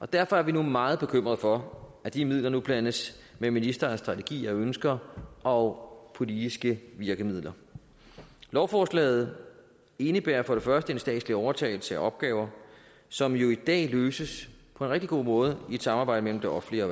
derfor er vi nu meget bekymrede for at de midler nu blandes med ministerens strategier og ønsker og politiske virkemidler lovforslaget indebærer for det første en statslig overtagelse af opgaver som jo i dag løses på en rigtig god måde i et samarbejde mellem det offentlige og